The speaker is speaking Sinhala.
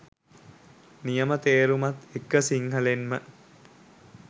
නියම තේරුමත් එක්ක සිංහලෙන්ම